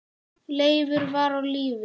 Leifur var á lífi.